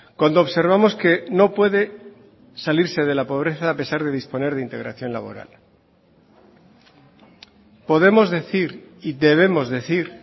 cuando observamos que no puede salirse de la pobreza a pesar de disponer de integración laboral podemos decir y debemos decir